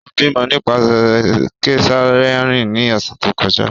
O bimọ nipasẹ kesareani ni ọsẹ to kọja.